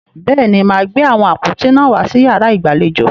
Bẹ́ẹ̀ni, màá gbé àwọn àpótí náà wàá sí yàrá ìgbàlejò.